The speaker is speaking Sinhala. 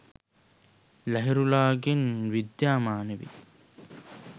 ලහිරුලාගෙන් විද්‍යාමාන වේ.